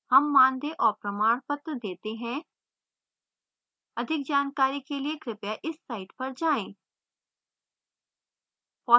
हम मानदेय और प्रमाणपत्र details हैं अधिक जानकारी के लिए कृपया इस site पर जाएँ